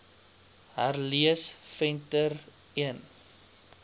herlees venter l